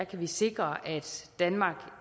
vi sikre at danmark